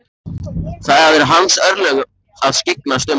Það eru hans örlög að skyggnast um og fræðast.